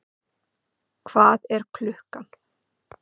hvað er klukkan?